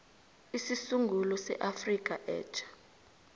isisungulo seafrika etja